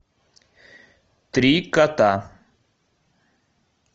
три кота